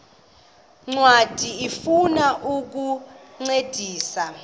ncwadi ifuna ukukuncedisa